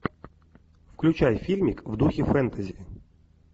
включай фильмик в духе фентези